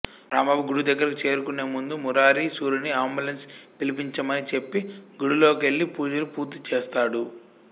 రాంబాబు గుడి దగ్గరికి చేరుకునే ముందు మురారి సూరిని అంబులెన్స్ పిలిపించమని చెప్పి గుడిలోకెళ్ళి పూజలు పూర్తిచేస్తాడు